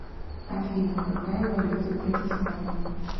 афина какая валюта в братиславе